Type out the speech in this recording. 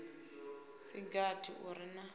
si gathi u re na